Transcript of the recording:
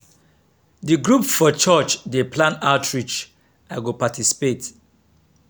d group for church dey plan outreach i go participate.